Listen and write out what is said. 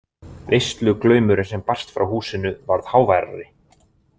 Veisluglaumurinn sem barst frá húsinu varð háværari.